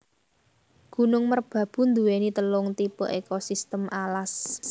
Gunung Merbabu nduwéni telung tipe ekosistem alas